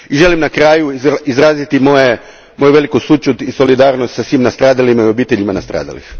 I želim na kraju izraziti moju veliku sućut i solidarnost sa svim nastradalima i obiteljima nastradalih.